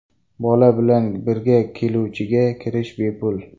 Bola bilan birga keluvchiga kirish bepul.